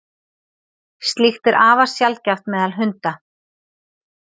slíkt er afar sjaldgæft meðal hunda